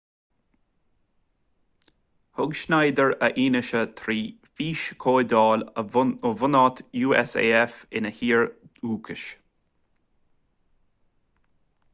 thug schneider a fhianaise trí fhíschomhdháil ó bhunáit usaf ina thír dhúchais